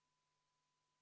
V a h e a e g